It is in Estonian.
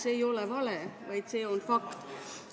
See ei ole vale, vaid see on fakt.